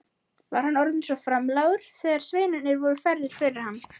Var hann orðinn framlágur þegar sveinarnir voru færðir fyrir hann.